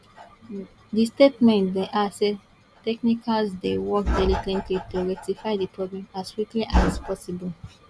di statement add say dia technicians dey work diligently to rectify di problem as quickly as possible